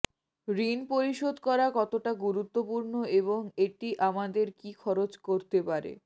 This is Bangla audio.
ঋণ পরিশোধ করা কতটা গুরুত্বপূর্ণ এবং এটি আমাদের কী খরচ করতে পারে